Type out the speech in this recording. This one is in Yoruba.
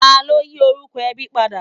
Ta ló yí orúkọ ẹbí padà?